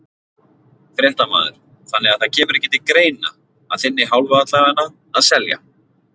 Fréttamaður: Þannig það kemur ekki til greina, að þinni hálfu allavega, að selja?